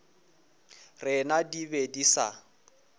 rena di be di sa